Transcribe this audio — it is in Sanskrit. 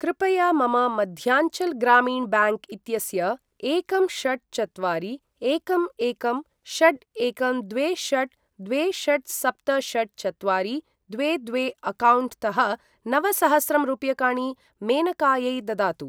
कृपया मम मध्याञ्चल् ग्रामीण ब्याङ्क् इत्यस्य एकं षट् चत्वारि एकं एकं षट् एकं द्वे षट् द्वे षट् सप्त षट् चत्वारि द्वे द्वे अक्कौण्ट् तः नवसहस्रं रूप्यकाणि मेनकायै ददातु।